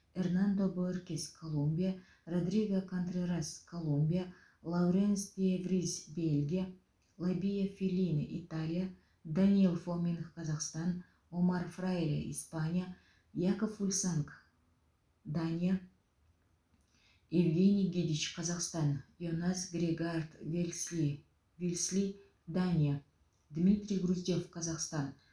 эрнандо бооркес колумбия родриго контрерас колумбия лауренс де вриз бельгия фабио феллине италия даниил фоминых қазақстан омар фраиле испания якоб фульсанг дания евгений гидич қазақстан йонас грегаард вилсли вилсли дания дмитрий груздев қазақстан